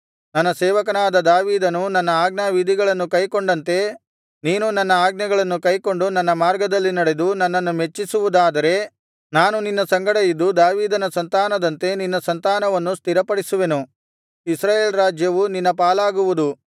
ನನ್ನ ಸೇವಕನಾದ ದಾವೀದನು ನನ್ನ ಆಜ್ಞಾವಿಧಿಗಳನ್ನು ಕೈಕೊಂಡಂತೆ ನೀನೂ ನನ್ನ ಆಜ್ಞೆಗಳನ್ನು ಕೈಕೊಂಡು ನನ್ನ ಮಾರ್ಗದಲ್ಲಿ ನಡೆದು ನನ್ನನ್ನು ಮೆಚ್ಚಿಸುವುದಾದರೆ ನಾನು ನಿನ್ನ ಸಂಗಡ ಇದ್ದು ದಾವೀದನ ಸಂತಾನದಂತೆ ನಿನ್ನ ಸಂತಾನವನ್ನೂ ಸ್ಥಿರಪಡಿಸುವೆನು ಇಸ್ರಾಯೇಲ್ ರಾಜ್ಯವು ನಿನ್ನ ಪಾಲಾಗುವುದು